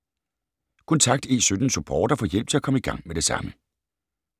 Kontakt E17-Support og få hjælp til at komme i gang med det samme.